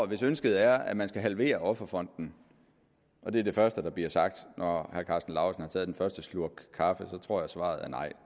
hvis ønsket er at man skal halvere offerfonden og det er det første der bliver sagt når herre karsten lauritzen har taget den første slurk kaffe så tror jeg at svaret er nej